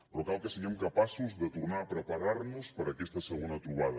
però cal que siguem capaços de tornar a preparar nos per a aquesta segona trobada